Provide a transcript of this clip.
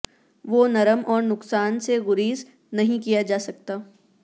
وہ نرم اور نقصان سے گریز نہیں کیا جا سکتا